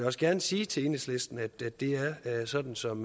også gerne sige til enhedslisten at det er sådan som